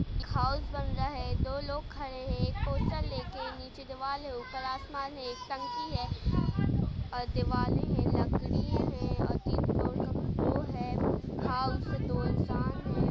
House बन रहा है दो लोग खड़े है पोस्टर लेके नीचे दीवार है ऊपर आसमान है एक टंकी है ऑर दिवाले है लकड़िया है और तीन फ्लोर का वो है। दो इंसान हैं।